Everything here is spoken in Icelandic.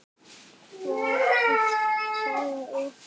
Hvaða saga er það?